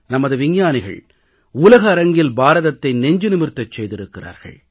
நமது விஞ்ஞானிகள் உலக அரங்கில் பாரதத்தை நெஞ்சு நிமிர்த்தச் செய்திருக்கிறார்கள்